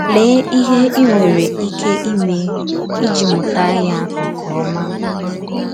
Lèè íhè í nwerè íké ímè ìjí mụ̀tà ya nke ọma.